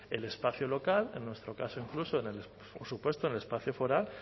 el espacio local en nuestro caso incluso por supuesto en el espacio foral